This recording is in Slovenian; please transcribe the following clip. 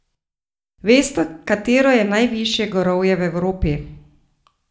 Veste, katero je najvišje gorovje v Evropi?